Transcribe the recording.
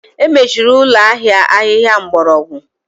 Emechiri ụlọ ahịa ahịhịa mgbọrọgwụ